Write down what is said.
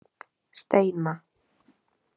Steina